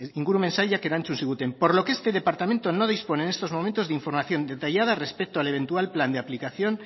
ingurumen sailak erantzun ziguten por lo que este departamento no dispone en estos momentos de información detallada respecto al eventual plan de aplicación